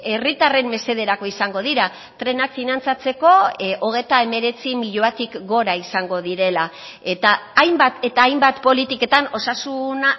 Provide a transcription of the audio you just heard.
herritarren mesederako izango dira trenak finantzatzeko hogeita hemeretzi milioitik gora izango direla eta hainbat eta hainbat politiketan osasun